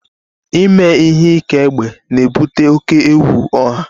Ime ihe ike egbe na-ebute oke egwu ọha